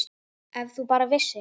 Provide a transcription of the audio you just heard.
Ef þú bara vissir.